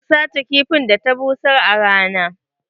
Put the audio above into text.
Zan sace kifin da ta busar a rana.